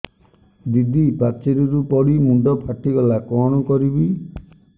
ଦିଦି ପାଚେରୀରୁ ପଡି ମୁଣ୍ଡ ଫାଟିଗଲା କଣ କରିବି